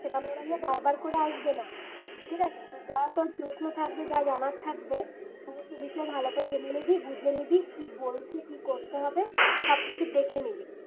ওরা বারবার করে আসবেনা ঠিক আছে তো যা তোর প্রশ্ন থাকবে যা জানার থাকবে সমস্ত বিষয় ভালো করে জেনে নিবি বুঝে নিবি কি বলছে কি করতে হবে সবকিছু দেখে নিবি